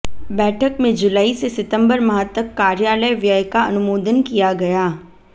बैठक में जुलाई से सितंबर माह तक कार्यालय व्यय का अनुमोदन किया गया